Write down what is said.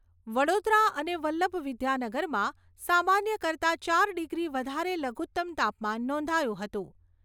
વડોદરા અને વલ્લભવિદ્યાનગરમાં સામાન્ય કરતાં ચાર ડિગ્રી વધારે લઘુત્તમ તાપમાન નોંધાયું હતું.